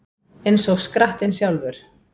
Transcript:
Eins og skrattinn sjálfur